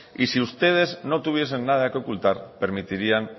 y si ustedes no tuviesen nada que ocultar permitirían